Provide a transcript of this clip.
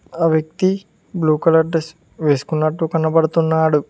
ఆ వ్యక్తి blue colour dress వేసుకున్నట్టు కనబడుతున్నాడు.